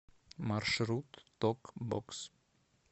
маршрут ток бокс